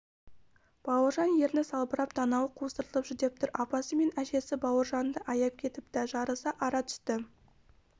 бауыржан ерні салбырап танауы қусырылып жүдеп тұр апасы мен әжесі бауыржанды аяп кетіпті жарыса ара түсті